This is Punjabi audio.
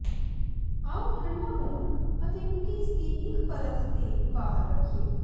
ਆਉ ਠੰਢਾ ਹੋਣ ਅਤੇ ਕੂਕੀਜ਼ ਦੀ ਇੱਕ ਪਰਤ ਤੇ ਬਾਹਰ ਰੱਖੀਏ